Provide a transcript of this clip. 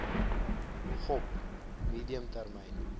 gop medium termyn